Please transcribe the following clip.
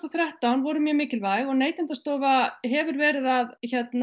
og þrettán voru mjög mikilvæg og Neytendastofa hefur verið að